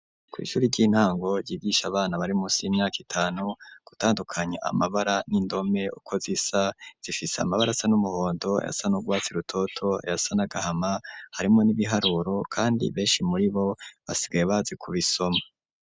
Kw'shuri ry'intango ryigisha abana barimusi y'imyaka itanu gutandukanya amabara n'indome uko zisa zifise amabara asa n'umuhondo ayasana n'urwatsi rutoto ayasa n'agahama harimwo n'ibiharuro kandi beshi muri bo basigaye bazi ku bisoma.